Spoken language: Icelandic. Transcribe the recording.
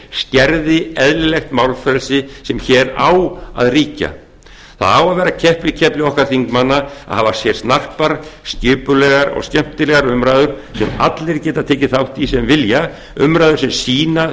skerði eðlilegt málfrelsi sem hér á að ríkja það á að vera keppikefli okkar þingmanna að hafa hér snarpar skipulegar og skemmtilegar umræður sem allir geta tekið þátt í sem vilja umræður sem sýna